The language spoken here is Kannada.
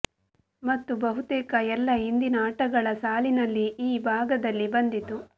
ಮತ್ತು ಬಹುತೇಕ ಎಲ್ಲ ಹಿಂದಿನ ಆಟಗಳ ಸಾಲಿನಲ್ಲಿ ಈ ಭಾಗದಲ್ಲಿ ಬಂದಿತು